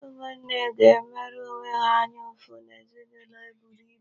Ụmụnne ga-emere onwe ha anya ụfụ n'ezinụlọ eburu ibu.